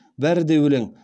бәрі де өлең